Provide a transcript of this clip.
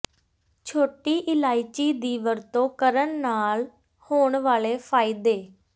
ਛੋਟੀ ਇਲਾਇਚੀ ਦੀ ਵਰਤੋਂ ਕਰਨ ਨਾਲ ਹੋਣ ਵਾਲੇ ਫਾਇੰਦੇ